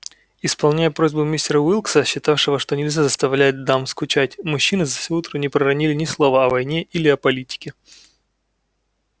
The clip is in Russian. исполняя просьбу мистера уилкса считавшего что нельзя заставлять дам скучать мужчины за всё утро не проронили ни слова о войне или о политике